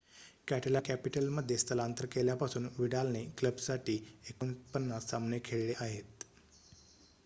Catalan कॅपिटलमध्ये स्थलांतर केल्यापासून विडालने क्लबसाठी ४९ सामने खेळले आहेत